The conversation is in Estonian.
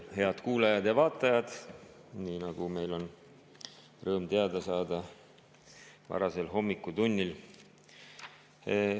Head kuulajad ja vaatajad, kellest meil oli rõõm teada saada varasel hommikutunnil!